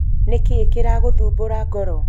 nĩkĩĩ kĩragũthmbũra ngoro?